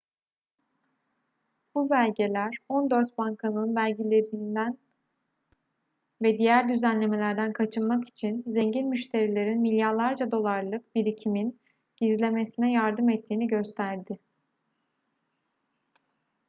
bu belgeler on dört bankanın vergilerden ve diğer düzenlemelerden kaçınmak için zengin müşterilerin milyarlarca dolarlık birikimin gizlemesine yardım ettiğini gösterdi